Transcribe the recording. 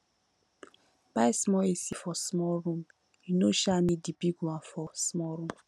buy small ac for small room you no um need di big one for small room